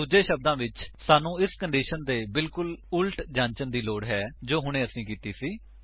ਦੂੱਜੇ ਸ਼ਬਦਾਂ ਵਿੱਚ ਸਾਨੂੰ ਇਸ ਕੰਡੀਸ਼ਨ ਦੇ ਬਿਲਕੁੱਲ ਵਿਪਰੀਤ ਜਾਂਚਣ ਦੀ ਲੋੜ ਹੈ ਜੋ ਹੁਣੇ ਅਸੀਂ ਕੀਤੀ ਸੀ